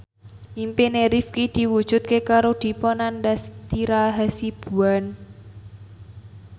impine Rifqi diwujudke karo Dipa Nandastyra Hasibuan